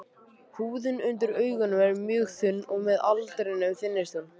Húðin undir augunum er mjög þunn og með aldrinum þynnist hún.